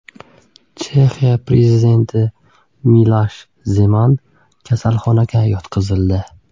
Chexiya prezidenti Milosh Zeman shifoxonaga yotqizildi.